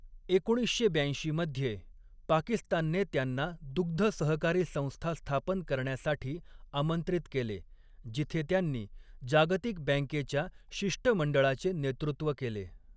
एकोणीसशे ब्याऐंशी मध्ये, पाकिस्तानने त्यांना दुग्ध सहकारी संस्था स्थापन करण्यासाठी आमंत्रित केले, जिथे त्यांनी जागतिक बँकेच्या शिष्टमंडळाचे नेतृत्व केले.